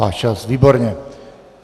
Váš čas - výborně.